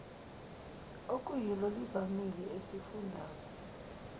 okuyilo livamile esifundazwe